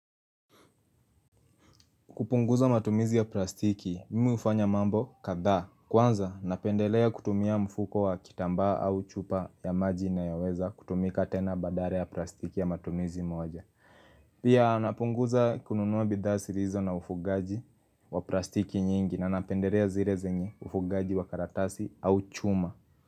Kupunguza matumizi ya plastiki, mimi hufanya mambo kadhaa. Kwanza, napendelea kutumia mfuko wa kitambaa au chupa ya maji inayoweza kutumika tena badala ya plastiki ya matumizi moja. Pia napunguza kununua bidhaa zilizo na ufugaji wa plastiki nyingi na napendelea zile zenye ufugaji wa karatasi au chuma.